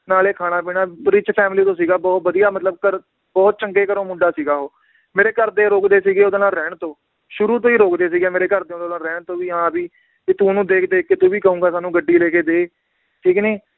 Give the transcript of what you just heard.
ਨਾਲੇ ਖਾਣਾ ਪੀਣਾ rich family ਤੋਂ ਸੀਗਾ ਬਹੁਤ ਵਧੀਆ ਮਤਲਬ ਘਰ ਬਹੁਤ ਚੰਗੇ ਘਰੋਂ ਮੁੰਡਾ ਸੀਗਾ ਉਹ ਮੇਰੇ ਘਰਦੇ ਰੋਕਦੇ ਸੀਗੇ ਓਹਦੇ ਨਾਲ ਰਹਿਣ ਤੋਂ, ਸ਼ੁਰੂ ਤੋਂ ਹੀ ਰੋਕਦੇ ਸੀਗੇ ਮੇਰੇ ਘਰਦੇ ਓਹਦੇ ਨਾਲ ਰਹਿਣ ਤੋਂ ਵੀ ਹਾਂ ਵੀ ਕਿ ਤੂੰ ਓਹਨੂੰ ਦੇਖ ਦੇਖ ਕੇ ਤੂੰ ਵੀ ਕਹੂੰਗਾ ਮੈਨੂੰ ਗੱਡੀ ਲੈਕੇ ਦੇ ਠੀਕ ਨੀ